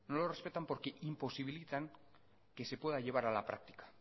lo respetan porque imposibilitan que se pueda llevar a la práctica